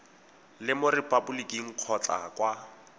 le mo repaboliking kgotsa kwa